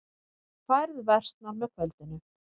Færð versnar með kvöldinu